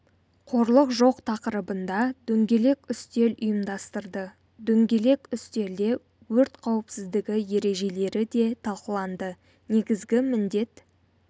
қорлық жоқ тақырыбында дөңгелек үстел ұйымдастырды дөңгелек үстелде өрт қауіпсіздігі ережелері де талқыланды негізгі міндет